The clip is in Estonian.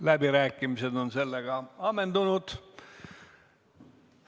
Läbirääkimised on sellega ammendatud.